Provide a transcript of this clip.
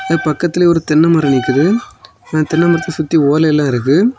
இதுக்கு பக்கத்திலேயே ஒரு தென்னை மரம் நிக்குது அந்த தென்னைமரத்தை சுத்தி ஓலை எல்லா இருக்கு.